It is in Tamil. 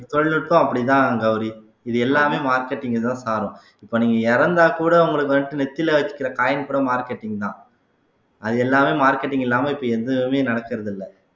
தொழில்நுட்பம் அப்படிதான் கௌரி இது எல்லாமே marketing அதான் சாரும் இப்ப நீங்க இறந்தா கூட உங்களுக்கு வந்து நெத்தியில வச்சிருக்கிற coin கூட marketing தான் அது எல்லாமே marketing இல்லாம இப்ப எதுவுமே நடக்கறது இல்ல